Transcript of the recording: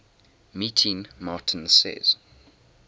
meeting martin says